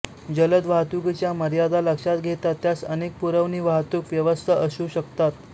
जलद वाहतुकीच्या मर्यादा लक्षात घेता त्यास अनेक पुरवणी वाहतूक व्यवस्था असू शकतात